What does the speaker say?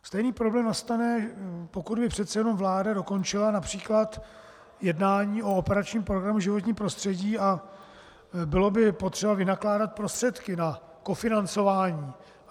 Stejný problém nastane, pokud by přece jenom vláda dokončila například jednání o operačním programu Životní prostředí a bylo by potřeba vynakládat prostředky na kofinancování.